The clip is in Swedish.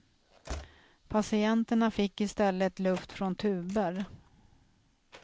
Patienterna fick i stället luft från tuber.